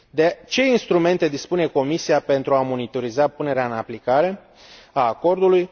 De ce instrumente dispune Comisia pentru a monitoriza punerea în aplicare a acordului?